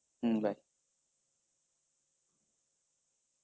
হম bye